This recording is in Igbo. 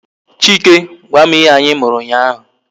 Chike gwam ihe anyi mụrụ ụnyaahụ